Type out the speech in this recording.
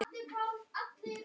Þetta var minn.